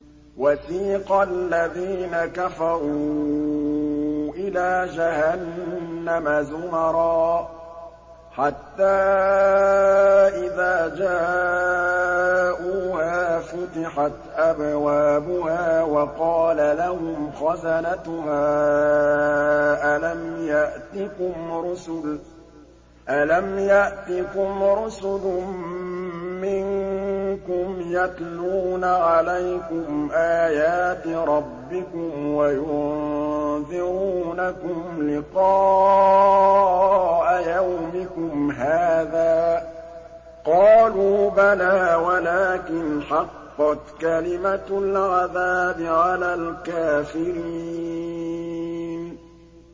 وَسِيقَ الَّذِينَ كَفَرُوا إِلَىٰ جَهَنَّمَ زُمَرًا ۖ حَتَّىٰ إِذَا جَاءُوهَا فُتِحَتْ أَبْوَابُهَا وَقَالَ لَهُمْ خَزَنَتُهَا أَلَمْ يَأْتِكُمْ رُسُلٌ مِّنكُمْ يَتْلُونَ عَلَيْكُمْ آيَاتِ رَبِّكُمْ وَيُنذِرُونَكُمْ لِقَاءَ يَوْمِكُمْ هَٰذَا ۚ قَالُوا بَلَىٰ وَلَٰكِنْ حَقَّتْ كَلِمَةُ الْعَذَابِ عَلَى الْكَافِرِينَ